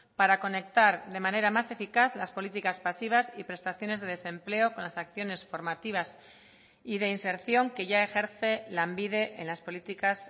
para conectar de manera más eficaz las políticas pasivas y prestaciones de desempleo con las acciones formativas y de inserción que ya ejerce lanbide en las políticas